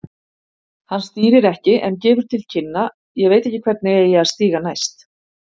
Hann stýrir ekki en gefur til kynna, ég veit ekki hvernig, eigi að stíga næst.